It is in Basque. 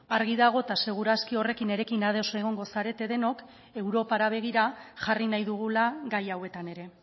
argi dago eta seguru aski horrekin nirekin ados egongo zaretela denok europara begira jarri nahi dugula gai hauetan ere